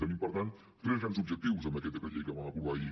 tenim per tant tres grans objectius amb aquest decret llei que vam aprovar ahir